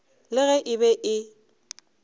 le ge e be e